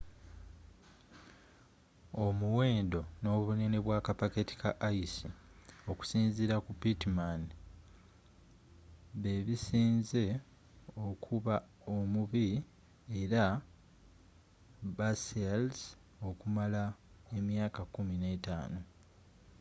omuwendo n'obunene bwa kapaketi ka ice okusinziira ku pittman bebisinze okuba omubi eri basealers okumala emyaka 15